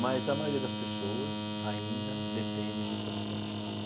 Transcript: Mas a maioria das pessoas ainda depende do transporte público.